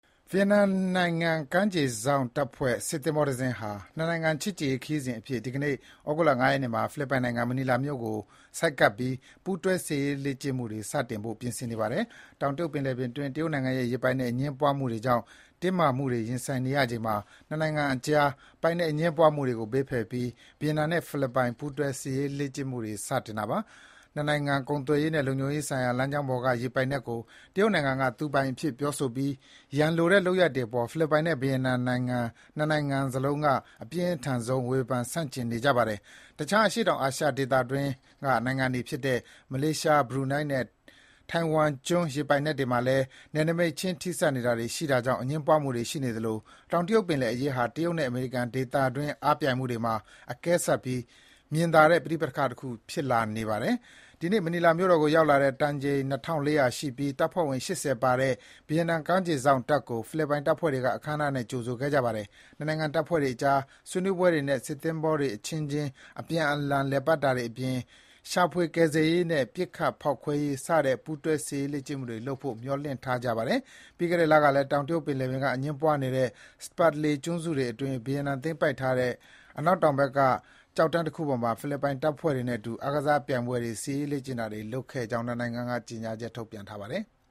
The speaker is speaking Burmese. ဗီယက်နမ်နိုင်ငံကမ်းခြေစောင့်တပ်ဖွဲ့ စစ်သင်္ဘောတစင်းဟာ နှစ်နိုင်ငံ ချစ်ကြည်ရေးခရီးစဉ်အဖြစ် ဒီကနေ့ ဩဂုတ်လ ၅ ရက်နေ့မှာ ဖိလစ်ပိုင်နိုင်ငံ၊ မနီလာမြို့ကို ဆိုက်ကပ်ပြီး ပူးတွဲ စစ်ရေးလေ့ကျင့်မှုတွေ စတင်ဖို့ ပြင်ဆင်နေပါတယ်။ တောင်တရုတ်ပင်လယ်အတွင်း တရုတ်နိုင်ငံနဲ့ ရေပိုင်နက် အငြင်းပွားမှုတွေကြောင့် တင်းမာမှုတွေ ရင်ဆိုင်နေရချိန်မှာ နှစ်နိုင်ငံအကြား ပိုင်နက်အငြင်းပွားမှုတွေကို ဘေးဖယ်ပြီး ဗီယက်နမ်နဲ့ ဖိလစ်ပိုင် ပူးတွဲစစ်ရေးလေ့ကျင့်မှုတွေ စတင်တာပါ။ နိုင်ငံတကာ ကုန်သွယ်ရေးနဲ့ လုံခြုံရေးဆိုင်ရာ လမ်းကြောင်းပေါ်က ရေပိုင်နက်ကို တရုတ်နိုင်ငံက သူပိုင်အဖြစ် ပြောဆိုပြီး ရန်လိုတဲ့ လုပ်ရပ်တွေအပေါ် ဖိလစ်ပိုင်နဲ့ ဗီယက်နမ်နိုင်ငံ နှစ်နိုင်ငံက အပြင်းထန်ဆုံး ဝေဖန် ဆန့်ကျင်နေပါတယ်။ တခြား အရှေ့တောင်အာရှ ဒေသတွင်း မလေးရှား၊ ဘရူနိုင်းနဲ့ ထိုင်ဝမ်ကျွန်းရေပိုင်နက်တွေမှာလည်း နယ်နိမိတ်ခြင်း ထပ်နေတာတွေ ရှိနေတာကြောင့် အငြင်းပွားမှုတွေ ရှိနေသလို၊ တောင်တရုတ်ပင်လယ်အရေးဟာ တရုတ်နဲ့ အမေရိကန် ဒေသတွင်း အားပြိုင်မှုတွေမှာ အကဲဆတ်ပြီး မြင်သာတဲ့ ပဋိပက္ခတခု ဖြစ်လာပါတယ်။ ဒီနေ့ မနီလာမြို့တော်ကို ရောက်လာတဲ့ တန်ချိန် ၂,၄၀၀ ရှိပြီး တပ်ဖွဲ့ဝင် ၈၀ ပါတဲ့ ဗီယက်တမ် ကမ်းခြေစောင့် စစ်သင်္ဘောကို ဖိလစ်ပိုင်တပ်ဖွဲ့ဝင်တွေ အခမ်းအနားနဲ့ ကြိုဆိုခဲ့ကြပါတယ်။ နှစ်နိုင်ငံ တပ်ဖွဲ့တွေအကြား ဆွေးနွေးပွဲတွေနဲ့ စစ်သင်္ဘောတွေအချင်းအချင်း အပြန်အလှန်လည်ပတ်တာတွေအပြင် ရှာဖွေကယ်ဆယ်ရေးနဲ့ ပစ်ခတ်ဖေါက်ခွဲရေးစတဲ့ ပူးတွဲ စစ်ရေးလေ့ကျင်မှုတွေ လုပ်ဖို့ မျှော်လင့်ထားကြပါတယ်။ ပြီးခဲ့တဲ့ လကလည်း တောင်တရုတ်ပင်လယ်က အငြင်းပွားနေတဲ့ Spratly ကျွန်းစုတွေအတွင်း ဗီယက်နမ်သိမ်းပိုက်ထားတဲ့ အနောက်တောင်ဘက်က ကျောက်တန်းတခုပေါ်မှာ ဖိလစ်ပိုင် တပ်ဖွဲ့တွေနဲ့အတူ အားကစားပြိုင်ပွဲတွေ၊ စစ်ရေးလေ့ကျင့်တာတွေ လုပ်ခဲ့ကြတဲ့အကြောင်း နှစ်နိုင်ငံအရာရှိတွေ သတင်းထုတ်ပြန်ပါတယ်။